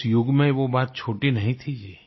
उस युग में वो बात छोटी नहीं थी जी